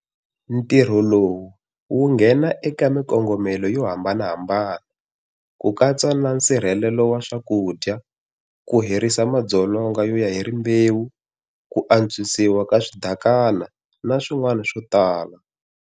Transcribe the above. Ntirho lowu wu nghena eka mikongomelo yo hambanahambana, ku katsa na nsirhelelo wa swakudya, ku herisa madzolonga yo ya hi rimbewu, ku antswisiwa ka swidakana na swin'wana swo tala.